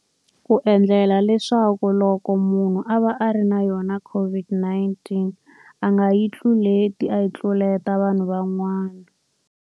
Ku endlela leswaku loko munhu a va a ri na yona COVID 19 a nga yi tluleti, a yi tluleta vanhu van'wana.